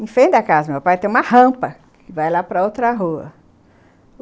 Em frente da casa do meu pai tem uma rampa que vai lá para outra rua.